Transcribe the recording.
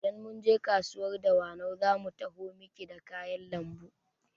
Idan mun je kasuwar Dawanau zamu taho maki da kayan lambu